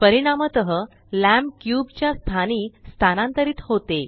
परिणामतः lamp cube च्या स्थानी स्थानांतरित होते